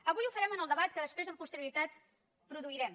avui ho farem en el debat que després amb posterioritat produirem